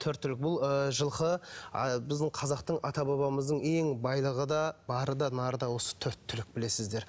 төрт түлік бұл ыыы жылқы ы біздің қазақтың ата бабамыздың ең байлығы да бары да нары да осы төрт түлік білесіздер